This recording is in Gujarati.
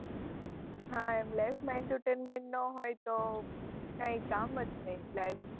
હાં એમ life માં entertainment ના હોય તો કઈ કામ જ નહીં life